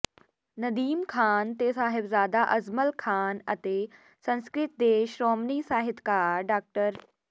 ਨਦੀਮ ਖ਼ਾਨ ਤੇ ਸਾਹਿਬਜ਼ਾਦਾ ਅਜ਼ਮਲ ਖ਼ਾਨ ਅਤੇ ਸੰਸਕਿ੍ਤ ਦੇ ਸ਼੍ਰੋਮਣੀ ਸਾਹਿਤਕਾਰ ਡਾ